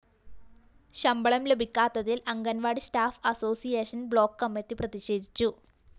ശമ്പളം ലഭിക്കാത്തതില്‍ anganwadi staff association block committee പ്രതിഷേധിച്ചു